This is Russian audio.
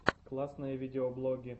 классные видеоблоги